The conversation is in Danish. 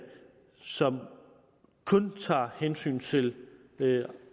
som kun tager hensyn til